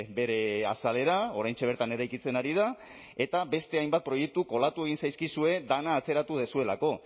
bere azalera oraintxe bertan eraikitzen ari da eta beste hainbat proiektu kolatu egin zaizkizue dena atzeratu duzuelako